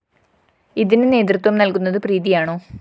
ഇതിന് നേതൃത്വം നല്‍കുന്നത് പ്രീതിയാണോ?